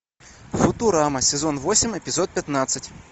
футурама сезон восемь эпизод пятнадцать